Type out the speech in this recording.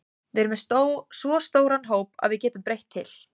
Við erum með svo stóran hóp að við getum breytt til.